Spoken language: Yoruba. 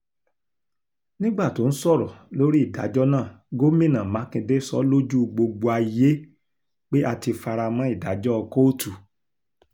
nígbà tó ń sọ̀rọ̀ lórí ìdájọ́ náà gomina makinde sọ lójú gbogbo ayé pé a ti fara mọ́ ìdájọ́ kóòtù